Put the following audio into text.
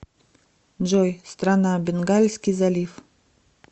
джой страна бенгальский залив